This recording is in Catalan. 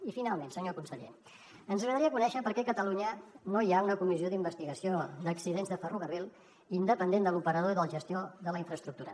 i finalment senyor conseller ens agradaria conèixer per què a catalunya no hi ha una comissió d’investigació d’accidents de ferrocarril independent de l’operador i de la gestió de la infraestructura